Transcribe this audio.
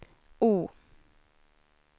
O